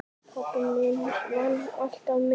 Pabbi minn vann alltaf mikið.